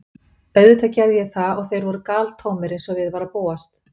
Auðvitað gerði ég það og þeir voru galtómir, eins og við var að búast.